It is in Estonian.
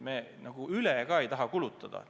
Me ei taha üle kulutada.